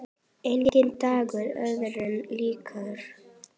Enginn dagur öðrum líkur.